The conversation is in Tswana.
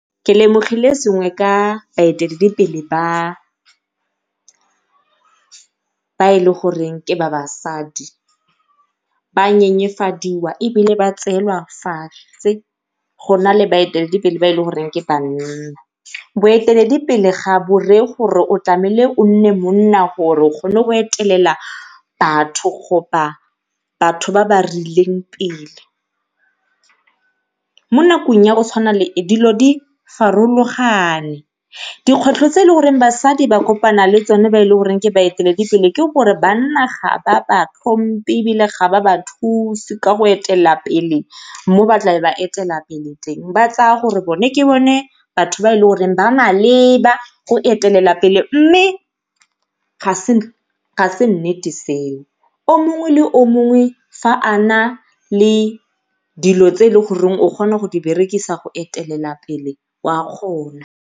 Ke lemogile sengwe ka baeteledipele ba, ba e leng goreng ke ba basadi ba nyenyefadiwa ebile ba tseelwa fatshe, go na le baeteledipele ba e le goreng ke banna. Boeteledipele ga bo reye gore o o nne monna gore o kgone go etelela batho batho ba ba rileng pele. Mo nakong ya go tshwana le e dilo di farologane, dikgwetlho tse e le gore basadi ba kopana le tsone ba e le goreng ke baeteledipele ke gore banna ga ba ba tlhomphe ebile ga ba ba thusi ka go etelela pele mo tlabe ba etelela pele teng ba tsaya gore ke bone batho ba e le goreng ba maleba go etelela pele. Mme ga e se nnete seo, o mongwe le o mongwe fa a na le dilo tse e leng gore o kgona go di berekisa go etelela pele o a kgona.